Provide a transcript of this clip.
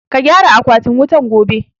Ka gyara akwatin wutan gobe!